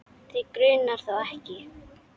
Þig grunar þó ekki?.